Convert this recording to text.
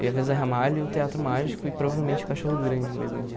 Eu ia ver o Zé Ramalho, o Teatro Mágico e provavelmente o Cachorro Grande no mesmo dia.